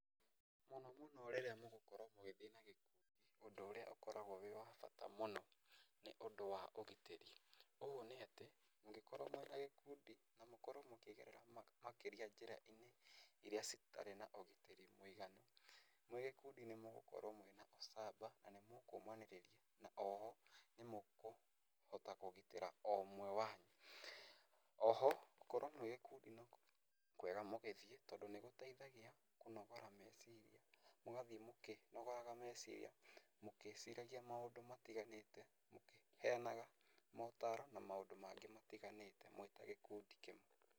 Mũno mũno rĩrĩa mũgũkorwo mũgĩthiĩ na gĩkundi ũndũ ũrĩa ũkoragwo wĩ wa bata mũno, nĩ ũndũ wa ũgitĩri, ũũ nĩ atĩ, mũngĩkorwo mwĩna gĩkundi na mũkorwo mũkĩgerera makĩria njĩra-inĩ, iria citarĩ na ũgitĩri mũiganu, mwĩ gĩkundi nĩ mũgũkorwo mwĩna ũcamba na nĩ mũkũmanĩrĩria, o ho nĩ mũkũhota kũgitĩra o ũmwe wanyu. Oho gũkorwo mwĩ gĩkundĩ nĩ kwega mũgĩthiĩ tondũ nĩ gũteithagia kũnogora meciria, mũgathiĩ mũkinogoraga meciria, mũkĩciragia maũndũ matiganĩte, mũkĩheanaga motaro na maũndũ mangĩ matiganĩte mwĩ ta gĩkundi kĩmwe.